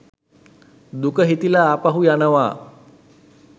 දුක හිතිලා ආපහු යනවා